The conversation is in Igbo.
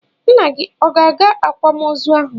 Nna gị ọ ga-aga akwamoozụ ahu?